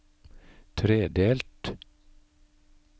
tredelt